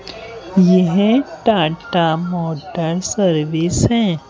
यह Tata Motors service है--